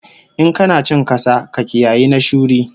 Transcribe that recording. In kana cin kasa, ka kiyayi na shuri